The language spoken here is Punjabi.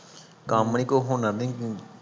ਕੰਮ ਨੀ ਕੋਈ ਹੁਨਰ ਨੀ